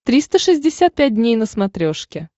триста шестьдесят пять дней на смотрешке